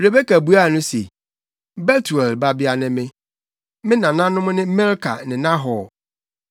Rebeka buaa no se, “Betuel babea ne me. Me nananom ne Milka ne Nahor.”